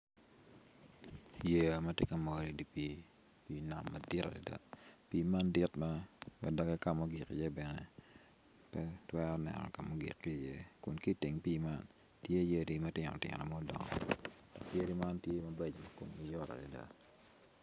Yeya ma tye ka mol odye pii nam madit adada pii man dit ma doge ka ma ogig iye bene pe itwero neno ka ma ogik iye kun ki iteng pii mna tye yadi matino tino ma odongo iye yadi man tye ma komgi beco adada.